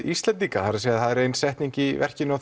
Íslendinga það er það er setning í verkinu